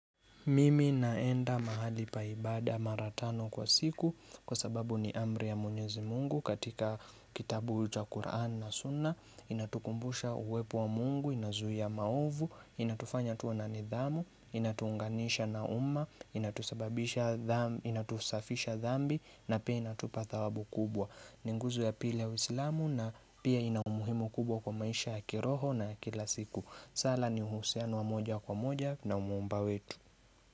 Mimi naenda mahali pa ibada mara tano kwa siku kwa sababu ni amri ya mwenyezi mungu katika kitabu cha Qur'an na suna Inatukumbusha uwepo wa mungu, inazuia maovu, inatufanya tuwe na nidhamu, inatu unganisha na uma, inatusababisha inatusafisha dhambi na pia inatupa thawabu kubwa ni nguzo ya pili ya uislamu na pia ina umuhimu kubwa kwa maisha ya kiroho na kila siku. Sala ni uhusiano wa moja kwa moja na umumba wetu.